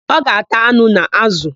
Ọ ga-ata anụ na ázụ̀.